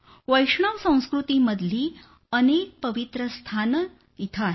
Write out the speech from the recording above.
वैष्णव संस्कृतीमधली अनेक पवित्र स्थानं इथं आहेत